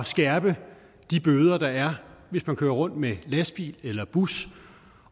skærpe de bøder der er hvis man kører rundt med lastbil eller bus